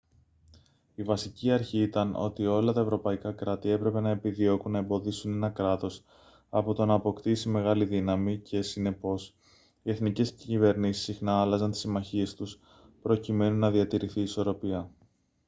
η βασική αρχή ήταν ότι όλα τα ευρωπαϊκά κράτη έπρεπε να επιδιώκουν να εμποδίσουν ένα κράτος από το να αποκτήσει μεγάλη δύναμη και συνεπώς οι εθνικές κυβερνήσεις συχνά άλλαζαν τις συμμαχίες τους προκειμένου να διατηρηθεί η ισορροπία